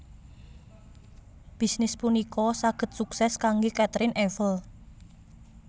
Bisnis punika saged suksès kanggé Caterine Eiffel